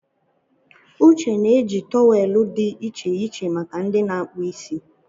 Uche na-eji tọwelụ dị iche iche make ndị na-akpụ isi.